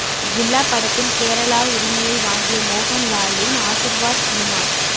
ஜில்லா படத்தின் கேரளா உரிமையை வாங்கிய மோகன் லாலின் ஆசிர்வாத் சினிமாஸ்